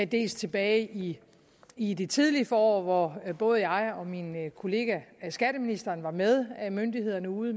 dels tilbage i i det tidlige forår hvor både jeg og min kollega skatteministeren var med myndighederne ude